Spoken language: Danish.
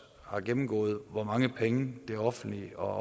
har gennemgået hvor mange penge det offentlige og